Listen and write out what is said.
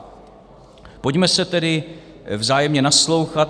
Pojďme si tedy vzájemně naslouchat.